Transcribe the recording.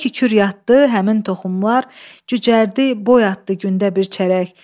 Elə ki kür yaddı, həmin toxumlar cücərdi, boy atdı gündə bir çərək.